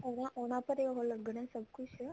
ਉਹ ਉਹਨਾ ਪਰ ਹੈ ਉਹ ਲੱਗਣਾ ਸਭ ਕੁੱਝ